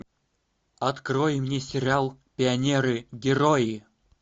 открой мне сериал пионеры герои